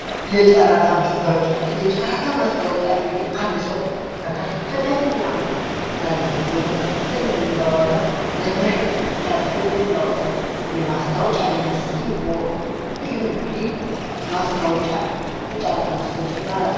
የጨራታ ማስታወቂያ እንግዲህ አንድ ሰው በከፍተኛ ገንዘብ ወይም በከፍተኛ በሚባል ዋጋ ለመሸጥ ሲያስብ የሚያወጠው የማስታወቂያ ዓይነት ሲሆን ይህ እንግዲህ የጨራታ ማስታወቂያ ይባላል።